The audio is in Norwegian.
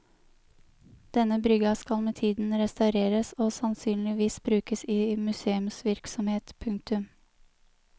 Denne brygga skal med tiden restaureres og sannsynligvis brukes i museumsvirksomhet. punktum